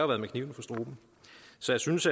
været med kniven for struben så jeg synes